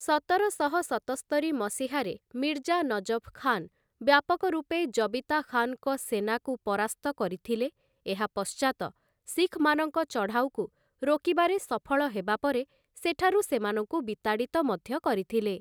ସତରଶହ ସତସ୍ତରି ମସିହାରେ ମିର୍ଜା ନଜଫ୍ ଖାନ୍‌ ବ୍ୟାପକ ରୂପେ ଜବିତା ଖାନ୍‌ଙ୍କ ସେନାକୁ ପରାସ୍ତ କରିଥିଲେ, ଏହା ପଶ୍ଚାତ ଶିଖ୍‌ମାନଙ୍କ ଚଢ଼ାଉକୁ ରୋକିବାରେ ସଫଳ ହେବା ପରେ, ସେଠାରୁ ସେମାନଙ୍କୁ ବିତାଡ଼ିତ ମଧ୍ୟ କରିଥିଲେ ।